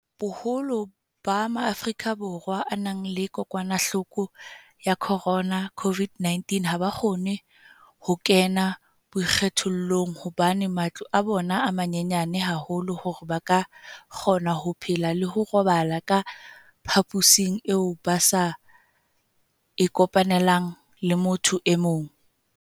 Boholo ba Maafrika Borwa a nang le kokwanahloko ya corona, COVID-19, ha ba kgone ho kena boikgethollong hobane matlo a bona a manyenyana haholo hore ba ka kgona ho phela le ho robala ka phaposing eo ba sa e kopanelang le motho e mong.